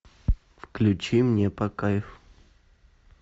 включи мне по кайфу